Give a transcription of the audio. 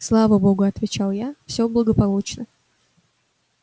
слава богу отвечал я всё благополучно